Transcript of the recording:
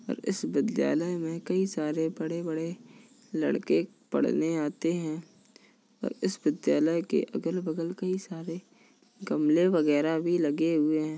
और इस विद्यालय में कई सारे बड़े-बड़े लड़के पढ़ने आते हैं और इस विद्यालय के अगल-बगल कई सारे गमले वगैरा भी लगे हुए हैं।